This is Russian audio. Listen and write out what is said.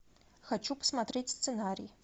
хочу посмотреть сценарий